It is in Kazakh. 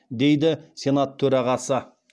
дейді сенат төрағасы